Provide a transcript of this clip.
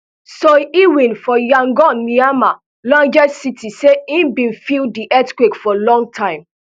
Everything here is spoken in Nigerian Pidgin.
soe lwin for yangon myanmar largest city say im bin feel di earthquake for a long time